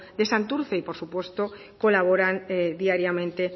de santurtzi y por supuesto colaboran diariamente